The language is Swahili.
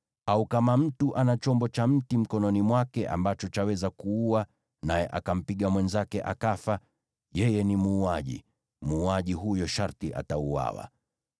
Au kama mtu ana chombo cha mti mkononi mwake ambacho chaweza kuua, naye akampiga mwenzake akafa, yeye ni muuaji; muuaji huyo sharti atauawa.